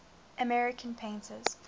american painters